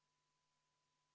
Kell on 15.38.